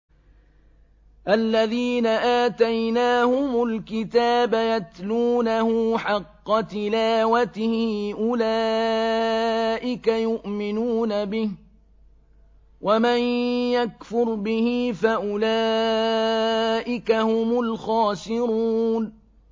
الَّذِينَ آتَيْنَاهُمُ الْكِتَابَ يَتْلُونَهُ حَقَّ تِلَاوَتِهِ أُولَٰئِكَ يُؤْمِنُونَ بِهِ ۗ وَمَن يَكْفُرْ بِهِ فَأُولَٰئِكَ هُمُ الْخَاسِرُونَ